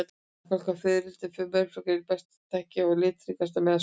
Ættbálkur fiðrilda og mölflugna er einn sá best þekkti og litríkasti meðal skordýra.